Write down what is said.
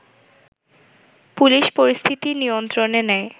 police পরিস্থিতি নিয়ন্ত্রণে নেয়